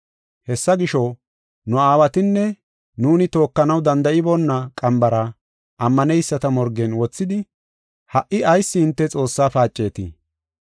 Hessa gisho, nu aawatinne nuuni tookanaw danda7iboona qambara ammaneyisata morgen wothidi ha77i ayis hinte Xoossa paacetii?